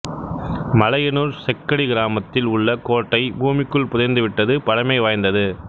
மலையனூர் செக்கடி கிராமத்தில் உள்ள கோட்டைபூமிக்குள் புதைந்து விட்டது பழமை வாய்ந்தது